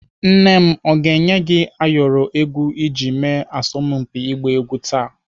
Nne m ọ ga-enye gị ayọrọ egwu iji mee asọmpi ọgba egwu taa?